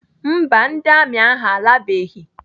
Mba, ndị amị ahụ alabeghị.